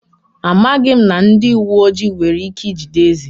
Amaghị m ma ndị uwe ojii nwere ike ijide eze.